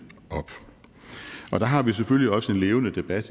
op der har vi selvfølgelig også en levende debat